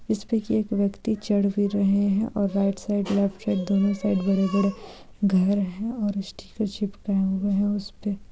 इसपे की एक व्यक्ति चढ़ भी रहे है और राइट साइड लेफ्ट साइड दोनों तरफ बड़े-बड़े घर है और स्टिकर चिपकाए हुए है उसपे---